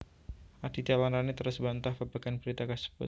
Aditya lan Rani terus mbantah babagan berita kasebut